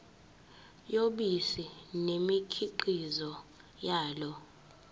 yobisi nemikhiqizo yalo